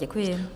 Děkuji.